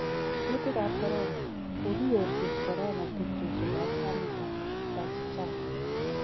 Kuutik ab corona: Kogiyorjin corona tupchosiek ab Amitabh Bachchan.